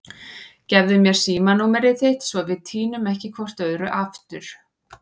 Gefðu mér símanúmerið þitt svo við týnum ekki hvort öðru aftur.